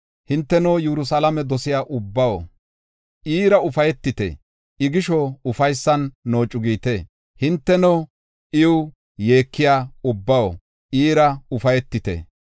Hinteno Yerusalaamo dosiya ubbaw, iira ufaytite; I gisho ufaysan noocu giite. Hinteno iw yeekiya ubbaw, iira ufaytite.